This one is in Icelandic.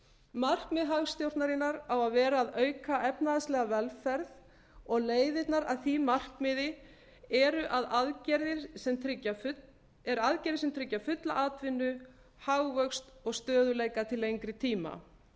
markmið hagstjórnarinnar á að gera að auka efnahagslega velferð og leiðirnar að því markmiði eru aðgerðir sem tryggja fulla atvinnu hagvöxt og stöðugleika til lengri tíma